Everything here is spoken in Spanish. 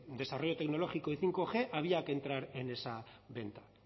desarrollo tecnológico y bostg había que entrar en esa venta